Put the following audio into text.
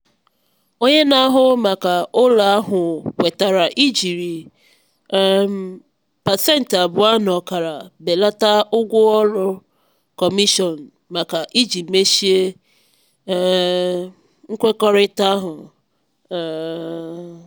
onye na-ahụ maka ụlọ ahụ kwetara ijiri um pasentị abụọ na ọkara belata ụgwọ ọrụ kọmishọn maka iji mechie um nkwekọrịta ahụ. um